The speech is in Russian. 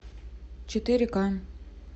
четыре ка